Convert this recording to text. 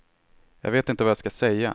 Jag vet inte vad jag ska säga.